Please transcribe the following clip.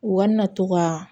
U ka na to ka